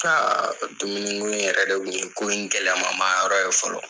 K'aa dumuni ko in yɛrɛ de kun ye ko in gɛlɛya ma ma yɔrɔ ye fɔlɔ.